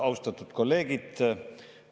Austatud kolleegid!